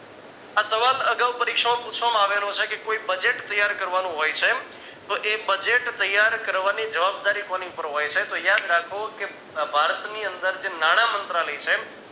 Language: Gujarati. આ સવાલ અગાઉ પરીક્ષામાં પૂછવામાં આવેલ છે કે કોઈ budget ત્યાર કરવાનું હોય છે તો એ budget ત્યાર કરવાની જવાબદારી કોની પર હોય છે તો યાદ રાખો કે ભારતની અંદર જે નાણામંત્રલાય છે